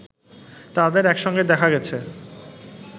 তাদের একসঙ্গে দেখা গেছে